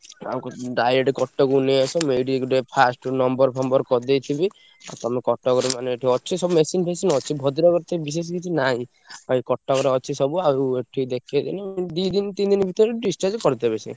ଆଉ କି direct କଟକକୁ ନେଇଆସ। ମୁଁ ଏଇଠି ଗୋଟେ first number ଫମ୍ବର କରିଦେଇଥିବି। ଆଉ ତମେ କଟକରେ ମାନେ ଏଠି ଅଛି ସବୁ machine ଫେସିନି ଅଛି। ଭଦ୍ରକରେ ତ ବିଶେଷ କିଛି ନାଇଁ। ଆଉ ଏଇ କଟକରେ ଅଛି ସବୁ ଆଉ ଏଠି ଦେଖେଇଦେଲେ ଉଁ ଦି ଦିନି ତିନି ଦିନି ଭିତରେ discharge କରିଦେବେ ସେ।